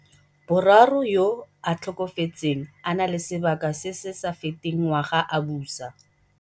boraro, yo a tlhokafetseng a na le sebaka se se sa feteng ngwaga a busa.